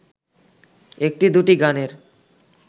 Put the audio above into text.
একটি-দুটি গানের